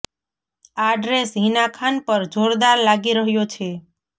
આ ડ્રેસ હિના ખાન પર જોરદાર લાગી રહ્યો છે